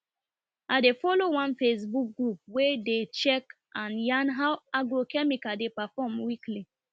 i dey follow one facebook group wey dey check and yarn how agrochemical dey perform weekly